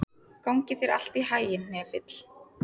Gangi þér allt í haginn, Hnefill.